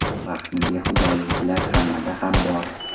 Vaqtni behuda oluvchilar hammada ham bor.